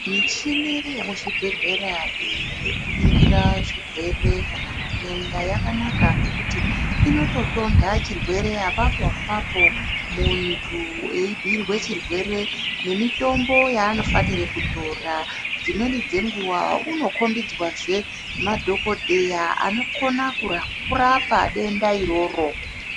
Muchini yemuzvibhedhlera iyi yekuningira zvirwere kana matenda yakanaka ngekuti inototonda chirwere apapo apapo muntu eibhuirwa chirwere nemitombo yaanofanira kutora dzimweni dzenguwa unokombidzwa zvee madhokodheya anokona kurapa denda iroro.